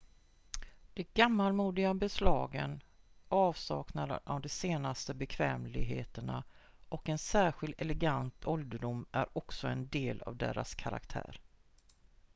de gammalmodiga beslagen avsaknaden av de senaste bekvämligheterna och en särskild elegant ålderdom är också en del av deras karaktär